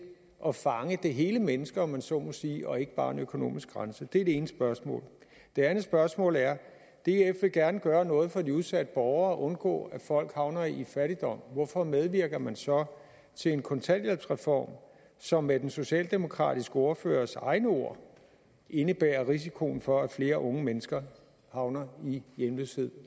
at fange det hele menneske om man så må sige og ikke bare en økonomisk grænse det er det ene spørgsmål det andet spørgsmål er df vil gerne gøre noget for de udsatte borgere undgå at folk havner i fattigdom hvorfor medvirker man så til en kontanthjælpsreform som med den socialdemokratiske ordførers egne ord indebærer risikoen for at flere unge mennesker havner i hjemløshed